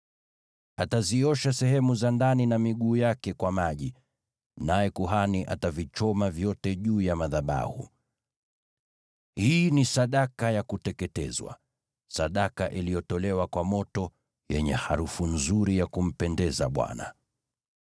Ataziosha sehemu za ndani na miguu yake kwa maji, naye kuhani atavichoma vyote juu ya madhabahu. Hii ni sadaka ya kuteketezwa, sadaka iliyotolewa kwa moto, yenye harufu nzuri ya kumpendeza Bwana .